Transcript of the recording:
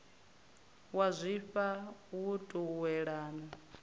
wa zwifha ṱo u yelana